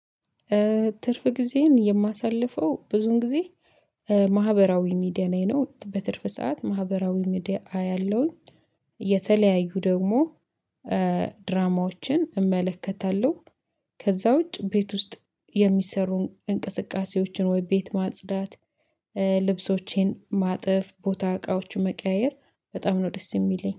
ትርፍ ጊዜን የማሳልፈው ብዙን ጊዜ ማህበራዊ ሚዲያ ላይ ነው። በትርፍ ሰዓት ማህበራዊ ሚዲያ አያለውኝ። የተለያዩ ደግሞ ድራማዎችን እመለከታለሁ። ከዛ ውጪ ቤት ውስጥ የሚሰሩ እንቅስቃሴዎችን ወይ ቤት ማጽዳት- ልብሶቼን ማጥፍ ቦታ እቃዎቹን መቀያየር በጣም ነው ደስ የሚለኝ።